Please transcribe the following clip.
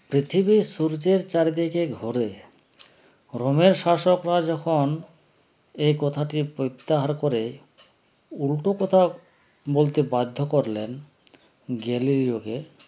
পৃথিবী সূর্যের চারদিকে ঘোরে রমেশাশকরা যখন একথাটা প্রত্যাহার করে উল্টো কথা বলতে বাধ্য করলেন গ্যালিলিওকে